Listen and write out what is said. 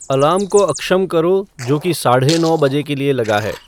alarm को अक्षम करो जो कि साढ़े नौ बजे के लिए लगा है